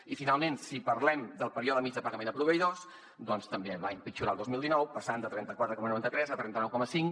i finalment si parlem del període mitjà de pagament a proveïdors doncs també va empitjorar el dos mil dinou passant de trenta quatre coma noranta tres a trenta nou coma cinc